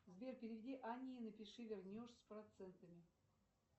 сбер переведи анне и напиши вернешь с процентами